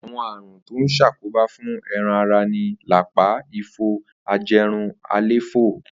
Àwo̩n àrùn tó ń s̩àkóbá fún e̩ran ara ni lápá, ifo, aje̩run, àléfó̩.